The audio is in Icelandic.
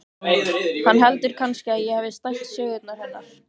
Hann heldur kannski að ég hafi stælt sögurnar hennar.